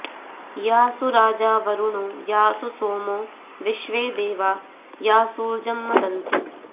यासु॒ राजा॒ वरु॑णो॒ यासु॒ सोमो॒ विश्वे॑ दे॒वा यासूर्जं॒ मद॑न्ति